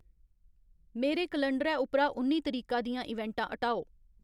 मेरे कलंडरै उप्परा उन्नी तरीका दियां इवेंटां हटाओ